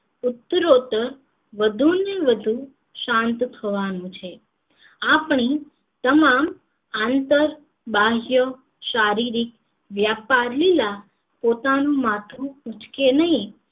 ઉત્તરોઉત્તર વધુ ને વધુ શાંત થવાનું છે આપણી તમામ આંતર બાહ્ય શારીરિક વ્યાપારલીલા પોતાનું માથું ઊંચકે નહિ